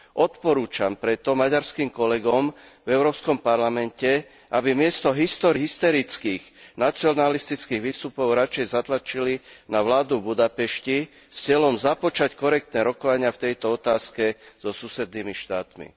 Odporúčam preto maďarským kolegom v Európskom parlamente, aby namiesto hysterických nacionalistických výstupov radšej zatlačili na vládu v Budapešti s cieľom započať korektné rokovania v tejto otázke so susednými štátmi.